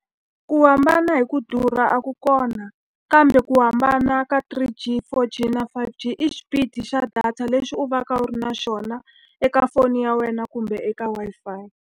Ku hambana hi ku durha a ku kona. Kambe ku hambana ka three G, four G, na five G i xipidi xa data lexi u va ka u ri na xona eka foni ya wena, kumbe eka Wi-Fi.